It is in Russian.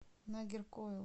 нагеркоил